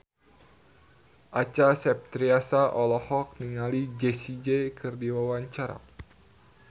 Acha Septriasa olohok ningali Jessie J keur diwawancara